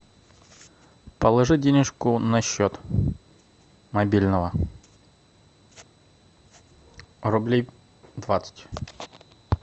положи денежку на счет мобильного рублей двадцать